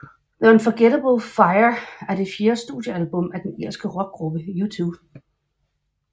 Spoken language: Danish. The Unforgettable Fire er det fjerde studiealbum af den irske rockgruppe U2